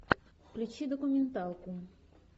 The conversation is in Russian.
включи документалку